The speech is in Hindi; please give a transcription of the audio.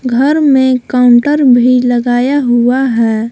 घर में काउंटर भी लगाया हुआ है।